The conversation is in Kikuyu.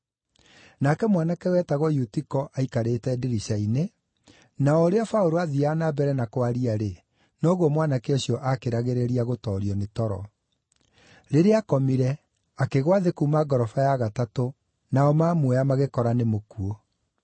Nake mwanake wetagwo Eutiko aikarĩte ndirica-inĩ, na o ũrĩa Paũlũ aathiaga na mbere na kwaria-rĩ, noguo mwanake ũcio akĩragĩrĩria gũtoorio nĩ toro. Rĩrĩa aakomire, akĩgũa thĩ kuuma ngoroba ya gatatũ nao mamuoya magĩkora nĩ mũkuũ.